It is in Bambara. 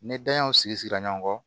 Ni daɲanw sigira ɲɔgɔn kɔ